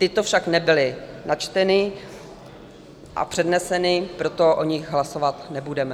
Tyto však nebyly načteny a předneseny, proto o nich hlasovat nebudeme.